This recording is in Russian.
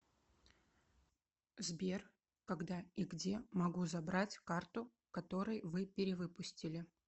сбер когда и где могу забрать карту который вы перевыпустили